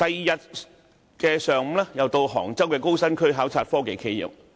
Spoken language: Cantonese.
翌日上午，我又前往杭州高新區考察科技企業。